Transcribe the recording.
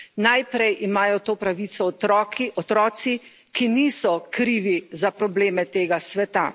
Najprej imajo to pravico otroci, ki niso krivi za probleme tega sveta.